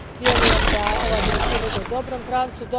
Vjerujem da ova direktiva ide u dobrom pravcu.